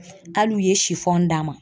Hali u ye sifɔn d'an ma.